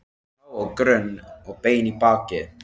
Há og grönn og bein í baki.